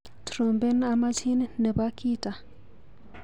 Trompen amachin nebo Khitta.